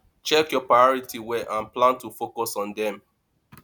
check your priorities well and plan to focus on them